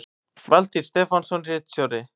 Valtýr Stefánsson ritstjóri